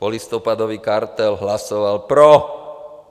- Polistopadový kartel hlasoval pro.